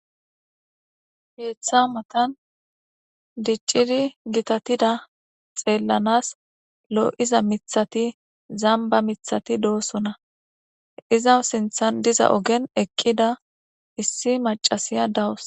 Keeththa matan dicciri gitatida xeellanas loo7iza mithati zamba mithati doosona izawu sinthan diza ogen eqqida issi macasiya dawos